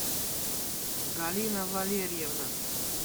галина валерьевна